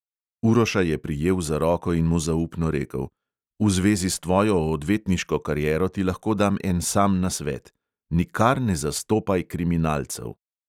Uroša je prijel za roko in mu zaupno rekel: "v zvezi s tvojo odvetniško kariero ti lahko dam en sam nasvet: nikar ne zastopaj kriminalcev."